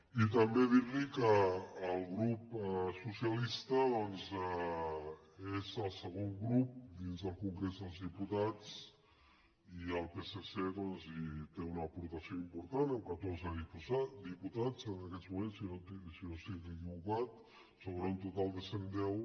i també dir li que el grup socialista doncs és el segon grup dins del congrés dels diputats i el psc hi té una aportació important amb catorze diputats en aquests moments si no estic equivocat sobre un total de cent deu